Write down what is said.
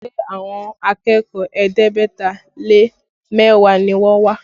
Ṣé àwọn akẹ́kọ̀ọ́ ẹ̀ẹ́dẹ́gbẹ̀ta lé mẹ́wàá ni wọ́n wá?